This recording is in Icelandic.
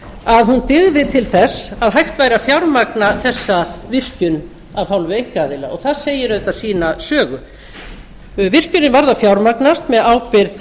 að hún dygði til þess að hægt væri að fjármagna þessa virkjun af hálfu einkaaðila og það segir auðvitað sína sögu virkjunin varð að fjármagnast með ábyrgð